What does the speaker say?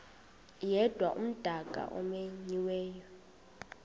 yedwa umdaka omenyiweyo